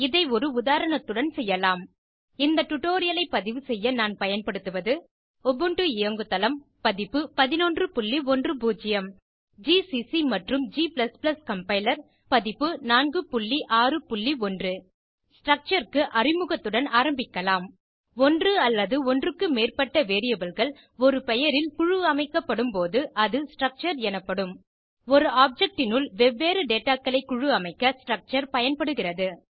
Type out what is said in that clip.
இதை ஒரு உதாரணத்துடன் செய்யலாம் இந்த டுடோரியலை பதிவு செய்ய நான் பயன்படுத்துவது உபுண்டு இயங்கு தளம் பதிப்பு 1110 ஜிசிசி மற்றும் g கம்பைலர் பதிப்பு 461 ஸ்ட்ரக்சர் க்கு அறிமுகத்துடன் ஆரம்பிக்கலாம் ஒன்று அல்லது ஒன்றுக்கு மேற்பட்ட variableகள் ஒரு பெயரில் குழுஅமைக்கப்படும் போது அது ஸ்ட்ரக்சர் எனப்படும் ஒரு ஆப்ஜெக்ட் னுள் வெவ்வேறு டேட்டா களை குழுஅமைக்க ஸ்ட்ரூக்கூட்டர் பயன்படுகிறது